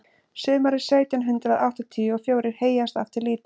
sumarið sautján hundrað áttatíu og fjórir heyjaðist aftur lítið